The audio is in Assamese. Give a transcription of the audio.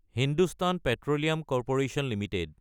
Hindustan petroleum corporation Ltd